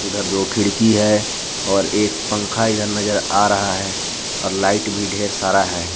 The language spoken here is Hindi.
उधर दो खिड़की है और एक पंखा इधर नजर आ रहा है और लाइट भी ढेर सारा है।